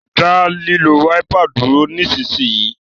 da lilo Wáípà dúró nísìsiyìí!